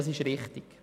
Dies ist richtig.